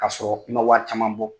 K'a sɔrɔ i ma wari caman bɔ